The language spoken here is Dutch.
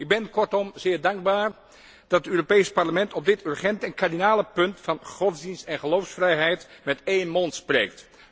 Ik ben kortom zeer dankbaar dat het Europees Parlement op dit urgente en kardinale punt van godsdienst en geloofsvrijheid met één mond spreekt.